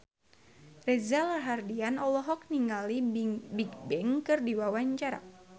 Reza Rahardian olohok ningali Bigbang keur diwawancara